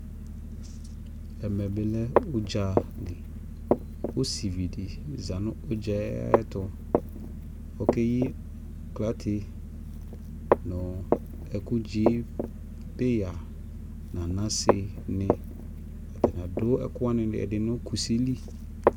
ɛmɛ bi lɛ ʋdza li, ɔsivi di zanʋ ʋdzaɛ ayɛtʋ kʋ ɔkɛyi aklatɛ nʋ ɛkʋ dzi pɛya nʋ anasɛ ni atani adʋ ɛkʋ wani ɛdini nʋ kʋsi li